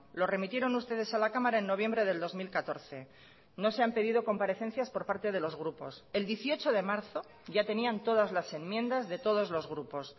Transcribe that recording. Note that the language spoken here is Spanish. lo remitieron ustedes a la cámara en noviembre del dos mil catorce no se han pedido comparecencias por parte de los grupos el dieciocho de marzo ya tenían todas las enmiendas de todos los grupos